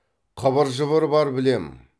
қыбыр жыбыр бар білем